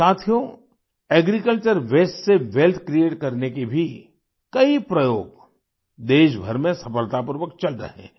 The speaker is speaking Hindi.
साथियो एग्रीकल्चर वास्ते से वेल्थ क्रिएट करने के भी कई प्रयोग देशभर में सफलतापूर्वक चल रहे हैं